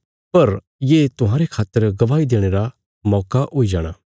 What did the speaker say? पर ये तुहांरे खातर गवाही देणे रा मौका हुई जाणा